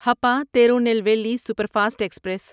Hapa Tirunelveli superfast express